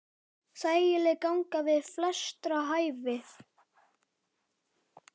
Þægileg ganga við flestra hæfi.